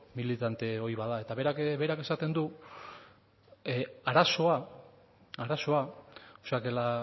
militante ohi bat da eta berak esaten du arazoa o sea que